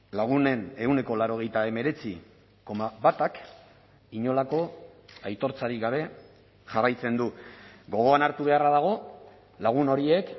lagunen ehuneko laurogeita hemeretzi koma batak inolako aitortzarik gabe jarraitzen du gogoan hartu beharra dago lagun horiek